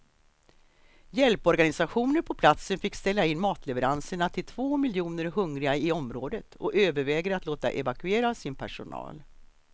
Hjälporganisationer på platsen fick ställa in matleveranserna till två miljoner hungriga i området och överväger att låta evakuera sin personal.